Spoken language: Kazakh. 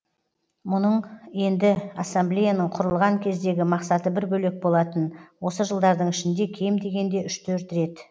мұның енді ассамблеяның құрылған кездегі мақсаты бір бөлек болатын осы жылдардың ішінде кем дегенде үш төрт рет